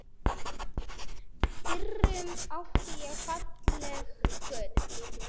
FYRRUM ÁTTI ÉG FALLEG GULL